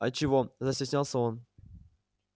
а чего застеснялся он